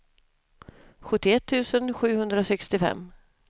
sjuttioett tusen sjuhundrasextiofem